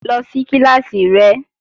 Lọ sí kíláàsì rẹ!